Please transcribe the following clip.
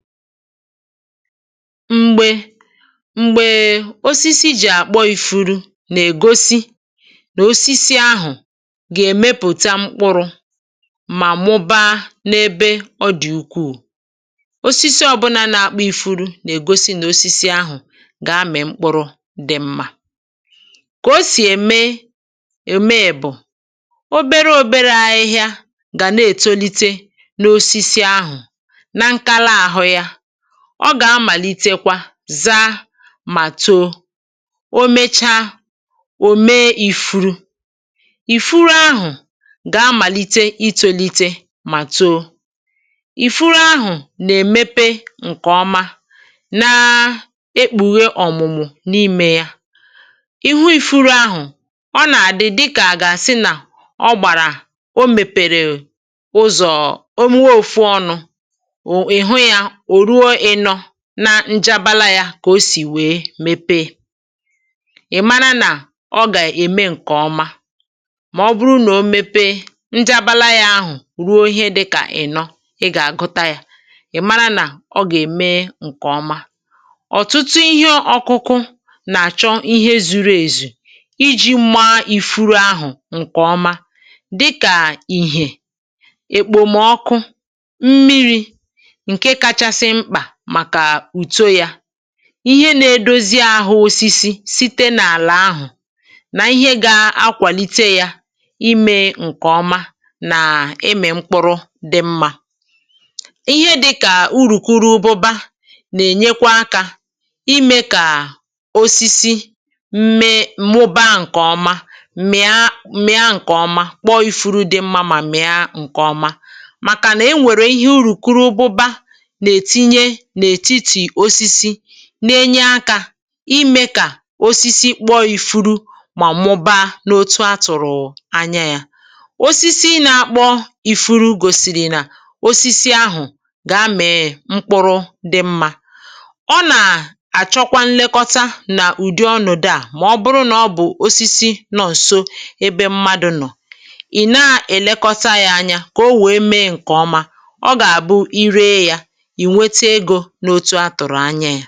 Mgbè mgbe osisi jì àkpọ ifuru na-ègosi na osisi ahụ̀ gà-èmepụta mkpụrụ̇ mà mụbaa n’ebe ọ dị̀ ukwuu. Osisi ọbụla na-akpọ ifuru na-ègosi nosisi ahụ̀ gà-amị̀ mkpụrụ dị̀ mmȧ. Kà o sì ème ème bụ̀, obere obere ahịhịa gà na-ètolite nosisi ahụ̀, na nkala ahụ ya. Ọ gà-amàlitekwa zaa mà too. O mechaa, ò mee ifuru. Ifuru ahụ̀ gà-amàlite itȯlite mà too. Ifuru ahụ̀ nà èmepe ǹkè ọma, naa ekpùghe ọ̀mụ̀mụ̀ n’imė ya. Ị hụ ifuru ahụ̀, ọ nà àdị dịkà àga àsị nà ọ gbàrà o mèpèrè ụzọ̀ onwe ofu ọnụ̇, ị hụ ya nà njabala ya kà o sì wèe mepe, ị̀ mara nà ọ gà ème ǹkè ọma, mà ọ bụrụ nà o mepee, njabala ya ahụ̀ ruo ihe dịkà ị̀nọ, ị gà-àgụta yȧ, ị̀ mara nà ọ gà-ème ǹkè ọma. Ọtụtụ ihe ọkụkụ nà-àchọ ihe zuru èzù iji̇ maa ìfuru ahụ̀ ǹkè ọma, dịkà: ìhè, okpemọkụ, mmiri nke kachasị mkpa maka uto ya. Ihe nȧ-edozi ahụ̇ osisi site n’àlà ahụ̀ nà ihe gȧ-akwàlite yȧ imė ǹkèọma nà ịmị̀ mkpụrụ dị̇ mmȧ. Ihe dịkà urùkuruụbụba nà-ènyekwa akȧ imė kà osisi mee mụbaa ǹkèọma, mịa mịa ǹkèọma, kpọọ ifuru dị mma mà mịa ǹkèọma maka nenwere ihe urukurụbụba na-etinye n'etiti osisi na-enye akȧ imė kà osisi kpọọ ifuru mà mụ̀baa n’otu atụ̀rụ̀ anya yȧ. Osisi na-akpọ̇ ifuru gòsìrì nà osisi ahụ̀ gà-amị̀ mkpụrụ dị mmȧ, ọ nà àchọkwa nlekọta nà ụ̀dị ọnọdị à mà ọ bụrụ nà ọ bụ̀ osisi nọ̀ nso ebe mmadụ̀ nọ̀, ị̀ na-èlekọta yȧ anya kà o wèe mee ǹkè ọma, ọ gà-àbụ i ree yȧ, i nwete ego n'otu a tụrụ anya.